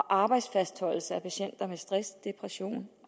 arbejdsfastholdelse af patienter med stress depression